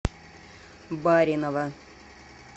баринова